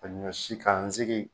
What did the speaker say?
Ka ɲɔsi k'an sigi